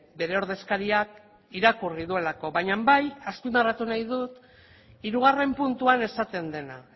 bere ordezkariak irakurri duelako baina bai azpimarratu nahi dut hirugarren puntuan esaten dena